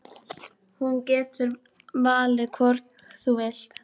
Þú getur valið hvorn þú vilt eiga.